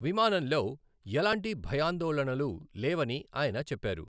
విమానంలో ఎలాంటి భయాందోళనలు లేవని ఆయన చెప్పారు.